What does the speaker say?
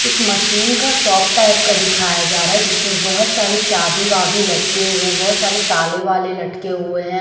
एक मशीन का shop type का दिखाया जा रहा है जिसमें बहुत सारे चाबी वाभी लटके हुए हैं बहुत सारे ताले वाले लटके हुए हैं ।